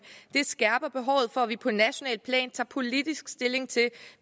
det skærper behovet for at vi på nationalt plan tager politisk stilling til